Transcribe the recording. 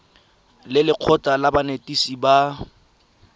le lekgotlha la banetetshi ba